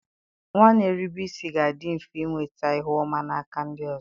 Nwa na-erube isi ga-adị mfe inweta ihu ọma n'aka ndị ọzọ